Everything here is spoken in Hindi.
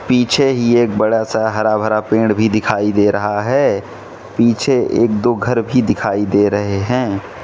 पीछे ही एक बड़ा सा हरा भरा पेड़ भी दिखाई दे रहा है पीछे एक दो घर भी दिखाई दे रहे हैं।